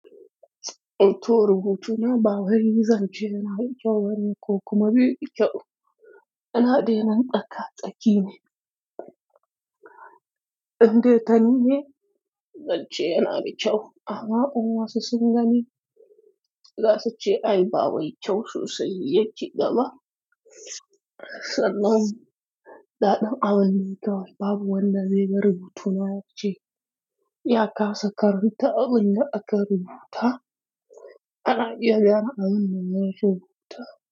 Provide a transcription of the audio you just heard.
Wato rubutuna ba wai zan ce yana da kyau bane ko kuma bai da kyau. Ana dainan tsaka tsaki ne. Indai ta nine, zan ce yana da kyau amma in wasu sun gani, za su ce ai ba wai kyau sosai yake dama. Sannan, daɗin abin dai kawai rubutuna babu wanda zai ga rubutuna ace. Ya kasa karanta abin da aka rubuta, ana iya gane abin da aka rubuta.